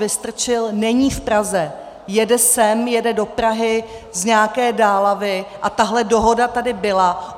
Vystrčil není v Praze, jede sem, jede do Prahy z nějaké dálavy a tahle dohoda tady byla.